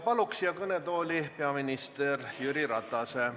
Palun siia kõnetooli peaminister Jüri Ratase!